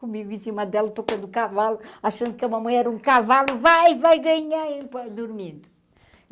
Comigo em cima dela, tocando o cavalo, achando que a mamãe era um cavalo, vai, vai ganhar, dormindo.